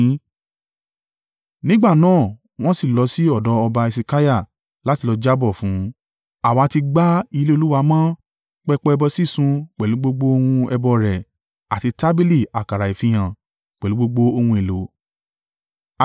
Nígbà náà wọn sì lọ sí ọ̀dọ̀ ọba Hesekiah láti lọ jábọ̀ fún un: “Àwa ti gbá ilé Olúwa mọ́, pẹpẹ ẹbọ sísun pẹ̀lú gbogbo ohun ẹbọ rẹ̀, àti tábìlì àkàrà ìfihàn, pẹ̀lú gbogbo ohun èlò.